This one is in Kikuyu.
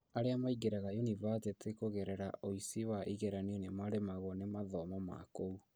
Aria maingĩraga yunibathĩtĩ kugererera ũici wa igeranio nĩ maremagwo nĩ mathomo makũu